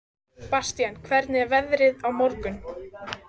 Bastían, hvernig er veðrið á morgun?